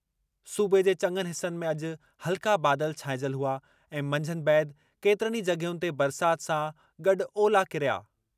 सूबे जे चङनि हिसनि में अॼु हल्का बादल छांइजल हुआ ऐं मंझंदि बैदि केतिरनि ई जॻहियुनि ते बरसाति सां गॾु ओला किरिया।